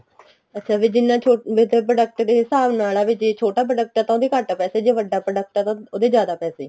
ਅੱਛਾ ਵੀ ਜਿੰਨਾ ਵੀ product ਦੇ ਹਿਸਾਬ ਨਾਲ ਏ ਜ਼ੇ ਛੋਟਾ product ਆ ਤਾਂ ਉਹਦੇ ਘੱਟ ਪੈਸੇ ਜ਼ੇ ਵੱਡਾ product ਆ ਤਾਂ ਉਹਦੇ ਜਿਆਦਾ ਪੈਸੇ